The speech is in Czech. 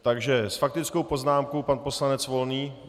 Takže s faktickou poznámkou pan poslanec Volný.